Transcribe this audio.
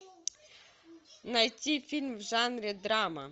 найти фильм в жанре драма